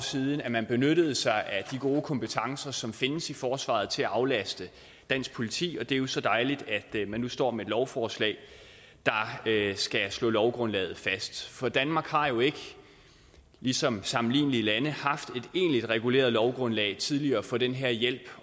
siden at man benyttede sig af de gode kompetencer som findes i forsvaret til at aflaste dansk politi og det er jo så dejligt at man nu står med et lovforslag der skal slå lovgrundlaget fast for danmark har jo ikke ligesom sammenlignelige lande haft et egentligt reguleret lovgrundlag tidligere for den her hjælp